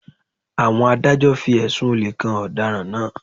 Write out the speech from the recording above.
Àwọn Adájọ́ fi ẹ̀sùn olè kan ọ̀daràn náà